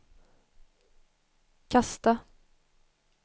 kasta